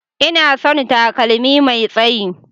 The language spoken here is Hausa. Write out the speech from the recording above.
Ina son takalmi Mai tsayi.